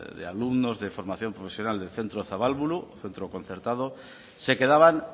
de alumnos de formación profesional del centro zabalburu centro concertado se quedaban